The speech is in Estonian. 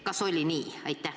Kas oli nii?